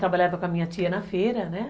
Trabalhava com a minha tia na feira, né?